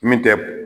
Min tɛ